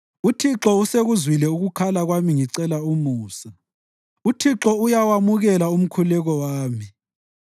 UThixo usekuzwile ukukhala kwami ngicela umusa; UThixo uyawamukela umkhuleko wami.